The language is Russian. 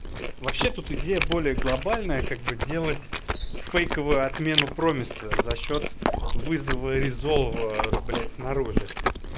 вообще тут идея более глобальная как бы делать фейковую отмену промеса за счёт вызова резов блядь снаружи